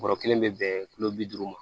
Bɔrɔ kelen bɛ bɛn kulo bi duuru ma